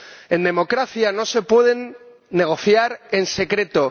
En democracia no se puede negociar en secreto.